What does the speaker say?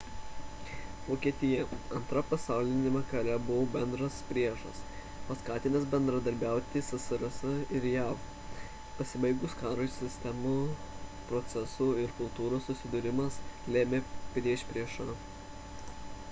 vokietija 2 pasauliniame kare buvo bendras priešas paskatinęs bendradarbiauti ssrs ir jav pasibaigus karui sistemų procesų ir kultūros susidūrimas lėmė priešpriešą